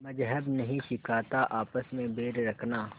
मज़्हब नहीं सिखाता आपस में बैर रखना